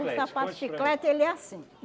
O sapato de chiclete, ele é assim.